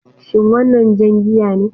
Shin wannan jan giya ne?